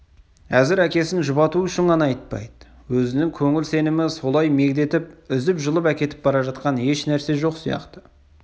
әзір әкесін жұбату үшін ғана айтпайды өзінің көңіл сенімі солай мегдетіп үзіп-жұлып әкетіп бара жатқан ешнәрсе жоқ сияқты